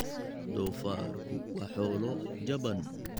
Doofaarku waa xoolo jaban.